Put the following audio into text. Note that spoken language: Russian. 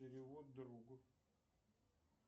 перевод другу